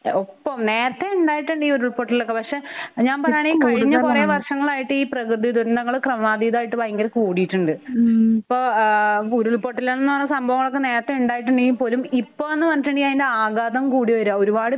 ഒപ്പം നേരത്തെ ഉണ്ടായിട്ടുണ്ട് ഈ ഉരുളപൊട്ടലൊക്കെ. പക്ഷെ ഞാൻ പറയാണെങ്കിൽ ഇപ്പൊ കൂടുതലാണ്. കഴിഞ്ഞ കുറേ വർഷങ്ങളായി ഈ പ്രകൃതി ദുരന്തങ്ങള് ക്രമാതീതായിട്ട് ഭയങ്കര കൂടിയിട്ടുണ്ട്. ഇപ്പൊ ആഹ് ഉരുൾപൊട്ടാലെന്നു പറഞ്ഞ സംഭവങ്ങളൊക്ക നേരത്തെ ഉണ്ടായിട്ടുണ്ടെങ്കിൽ പോലും ഇപ്പോന്ന് പറഞ്ഞിട്ടുണ്ടെങ്കിൽ അതിന്റെ ആകാതം കൂടി വരാ. ഒരുപാട് പേര്